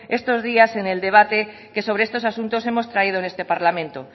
estos días en el debate que sobre estos asuntos hemos traído en este parlamento